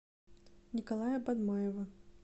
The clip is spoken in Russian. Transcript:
николая бадмаева